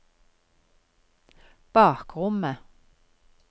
bakrommet